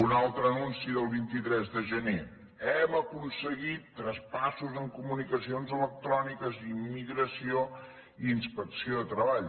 un altre anunci del vint tres de gener hem aconseguit traspassos en comunicacions electròniques immigració i inspecció de treball